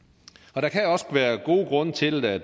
og der kan også være gode grunde til at